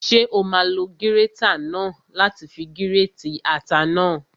Ṣé o máa lo gírétà náà láti fi gírètì ata náà?